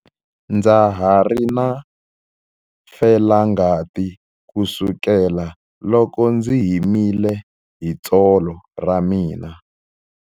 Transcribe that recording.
Ndza ha ri na felangati kusukela loko ndzi himile hi tsolo ra mina.